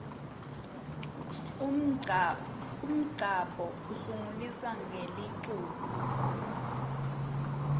umngcabo usungulusa ngeliculo